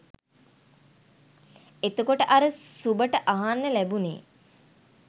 එතකොට අර සුභට අහන්න ලැබුණේ